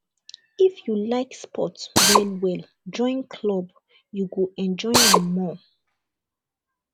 if you like sports well well join club you go enjoy am more